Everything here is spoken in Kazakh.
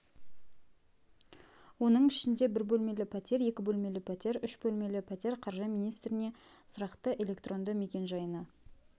оның ішінде бір бөлмелі пәтер екі бөлмелі пәтер үш бөлмелі пәтер қаржы министріне сұрақты электронды мекенжайына